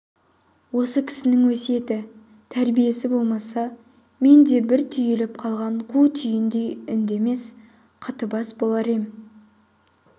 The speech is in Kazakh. осы кісінің өсиеті тәрбиесі болмаса мен де бір түйіліп қалған қу түйіндей үндемес қатыбас болар ем